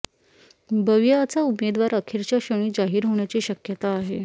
बविआचा उमेदवार अखेरच्या क्षणी जाहीर होण्याची शक्यता आहे